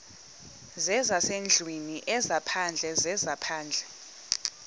zezasendlwini ezaphandle zezaphandle